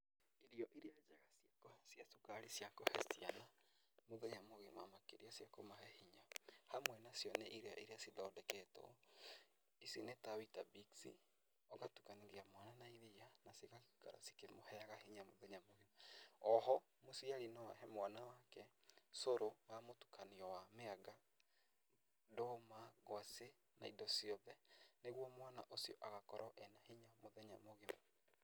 Irio irĩa njega cia cukari cia kũhe ciana muthenya mũgima makĩria cia kũmũhe hinya, hamwe nacio nĩ irio irĩa cithondeketwo, ici nĩ ta weetabix, ũgatukanĩria mwana na iria na cigaikara cikĩmũheaga hinya mũthenya mũgima. O ho, mũciari no ahe mwana wake cũrũ wa mũtukanio wa mĩanga, ndũma, ngwacĩ na indo ciothe, nĩguo mwana ũcio agakorwo ena hinya mũthenya mũgima.